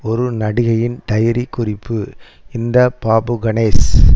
ஒரு நடிகையின் டைரி குறிப்பு இந்த பாபு கணேஷ்